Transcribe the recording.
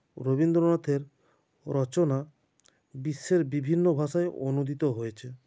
রবীন্দ্রনাথের রচনা বিশ্বের বিভিন্ন ভাষায় অনুদিত হয়েছে